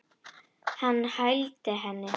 Hann hældi henni.